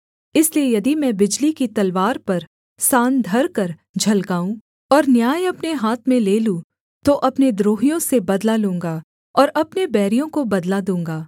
इसलिए यदि मैं बिजली की तलवार पर सान धरकर झलकाऊँ और न्याय अपने हाथ में ले लूँ तो अपने द्रोहियों से बदला लूँगा और अपने बैरियों को बदला दूँगा